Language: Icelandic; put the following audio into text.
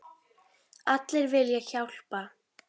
Allir vilja hjálpa.